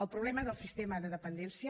el problema de sistema de dependència